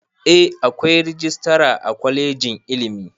Eh akwai rajistara a kwalejin ilimi